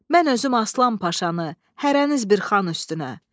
Mən özüm Aslan Paşanı, hərəniz bir xan üstünə.